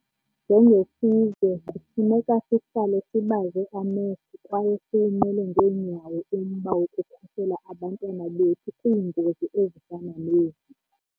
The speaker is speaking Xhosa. Njengesizwe, kufuneka sihlale sibaze amehlo kwaye siyimele ngeenyawo umba wokukhusela abantwana bethu kwiingozi ezifana nezi.